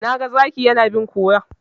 Na ga Zakin yana bin kurar.